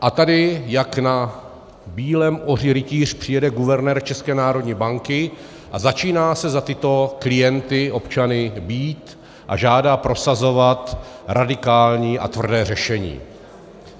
A tady jak na bílém oři rytíř přijede guvernér České národní banky a začíná se za tyto klienty, občany, bít a žádá prosazovat radikální a tvrdé řešení.